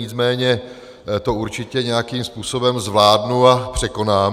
Nicméně to určitě nějakým způsobem zvládnu a překonám.